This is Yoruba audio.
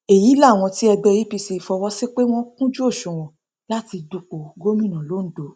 èyí làwọn tí ẹgbẹ apc fọwọ sí pé wọn kúnjú òṣùwọn láti dúpọ gómìnà londo